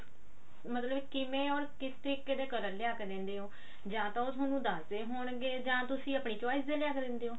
ਮਤਲਬ ਕਿਵੇਂ ਓਰ ਕਿਸ ਤਰੀਕੇ ਦੇ color ਲੇਆ ਕੇ ਦਿੰਦੇ ਹੋ ਜਾਂ ਤਾਂ ਉਹ ਥੋਨੂੰ ਦੱਸਦੇ ਹੋਣਗੇ ਜਾਂ ਤੁਸੀਂ ਆਪਣੀ choice ਦੇ ਲੈ ਕੇ ਦਿੰਦੇ ਹੋ